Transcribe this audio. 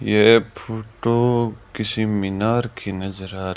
ये फोटो किसी मीनार की नजर आ र--